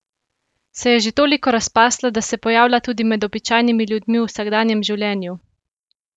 Se je že toliko razpasla, da se pojavlja tudi med običajnimi ljudmi v vsakdanjem življenju?